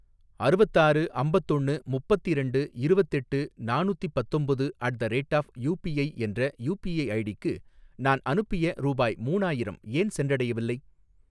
அறுவத்தாறு அம்பத்தொண்ணு முப்பத்திரெண்டு இருவத்தெட்டு நாணுத்தி பத்தொம்பது at the rate of UPI என்ற யூபிஐ ஐடிக்கு நான் அனுப்பிய ரூபாய் மூணாயிரம் ஏன் சென்றடையவில்லை?